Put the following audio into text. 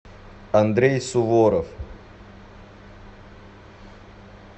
андрей суворов